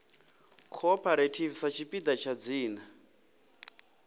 cooperative sa tshipiḓa tsha dzina